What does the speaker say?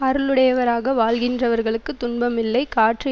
அருளுடையவராக வாழ்கின்றவர்களுக்குத் துன்பம் இல்லை காற்று